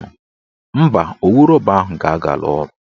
Mba, owu rọba ahụ ga-agala ọnụ